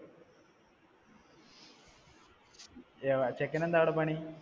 ചെക്കന് എന്താ അവിടെ പണി?